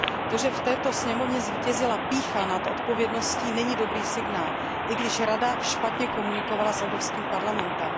To, že v této sněmovně zvítězila pýcha nad odpovědností, není dobrý signál, i když Rada špatně komunikovala s Evropským parlamentem.